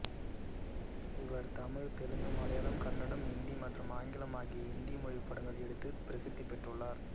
இவர் தமிழ் தெலுங்கு மலையாளம் கன்னடம் ஹிந்தி மற்றும் ஆங்கிலம் ஆகிய இந்திய மொழிப் படங்கள் எடுத்து பிரசித்தி பெற்றுள்ளார்